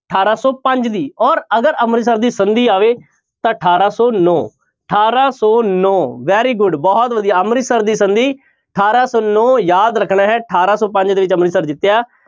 ਅਠਾਰਾਂ ਸੌ ਪੰਜ ਦੀ ਔਰ ਅਗਰ ਅੰਮ੍ਰਿਤਸਰ ਦੀ ਸੰਧੀ ਆਵੇ ਤਾਂ ਅਠਾਰਾਂ ਸੌ ਨੋ, ਅਠਾਰਾਂ ਸੌ ਨੋਂ very good ਬਹੁਤ ਵਧੀਆ ਅੰਮ੍ਰਿਤਸਰ ਦੀ ਸੰਧੀ ਅਠਾਰਾਂ ਸੌ ਨੋਂ ਯਾਦ ਰੱਖਣਾ ਹੈ ਅਠਾਰਾਂ ਸੌ ਪੰਜ ਦੇ ਵਿੱਚ ਅੰਮ੍ਰਿਤਸਰ ਜਿੱਤਿਆ,